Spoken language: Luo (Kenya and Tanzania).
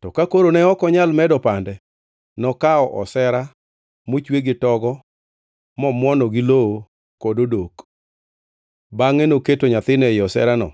To ka koro ne ok onyal medo pande, nokawo osera mochwe gi togo momuono gi lowo kod odok. Bangʼe noketo nyathino ei oserano